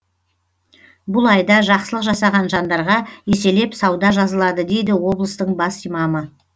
бұл айда жақсылық жасаған жандарға еселеп сауда жазылады дейді облыстың бас имамы